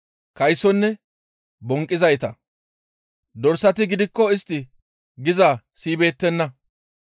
Taappe kase yidayti wuri kaysonne bonqqizayta. Dorsati gidikko istti gizaa siyibeettenna.